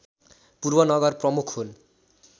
पूर्व नगर प्रमुख हुन्